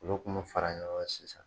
Olu kun mu fara ɲɔgɔn kan sisan.